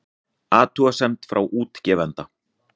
Athugasemd frá útgefanda